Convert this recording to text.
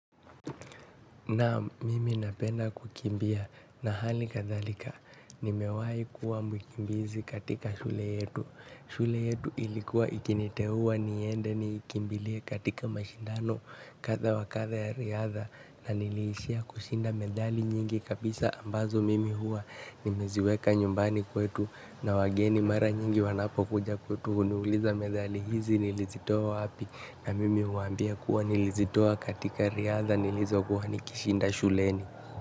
Na mimi napenda kukimbia na hali kadhalika nimewahi kua mkimbizi katika shule yetu shule yetu ilikuwa ikiniteua niende ni ikimbilie katika mashindano kadha wa kadha ya riadha na niliishia kushinda medali nyingi kabisa ambazo mimi hua nimeziweka nyumbani kwetu na wageni mara nyingi wanapo kuja kwetu huniuliza medali hizi nilizitoa wapi na mimi huwambia kuwa nilizitoa katika riadha nilizo kuwa nikishinda shuleni.